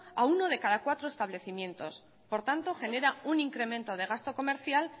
a uno de cada cuatro establecimientos por tanto genera un incremento de gasto comercial